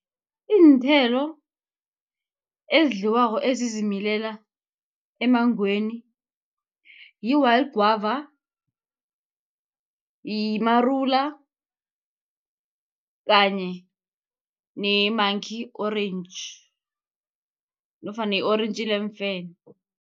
Iinthelo ezidliwako ezizimilelako emmangweni, yi-wild guava, yimarula kanye ne-monkey-orange nofana i-orentji leemfene.